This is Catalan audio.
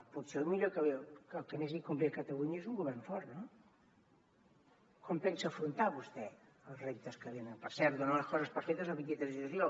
potser el millor el que més li convé a catalunya és un govern fort no com pensa afrontar vostè els reptes que venen per cert dona les coses per fetes el vint tres de juliol